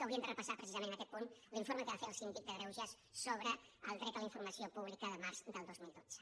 que haurien de repassar precisament en aquest punt l’informe que va fer el síndic de greuges sobre el dret a la informació pública de març del dos mil dotze